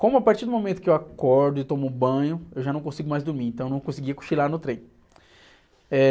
Como a partir do momento que eu acordo e tomo banho, eu já não consigo mais dormir, então eu não conseguia cochilar no trem. Eh...